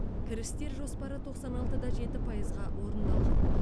кірістер жоспары тоқсан алты да жеті пайызға орындалған